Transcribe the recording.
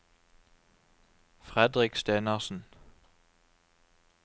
Fredrik Stenersen